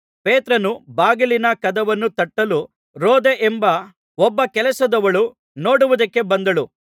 ಪೇತ್ರನು ಬಾಗಿಲಿನ ಕದವನ್ನು ತಟ್ಟಲು ರೋದೆ ಎಂಬ ಒಬ್ಬ ಕೆಲಸದವಳು ನೋಡುವುದಕ್ಕೆ ಬಂದಳು